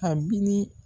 A bi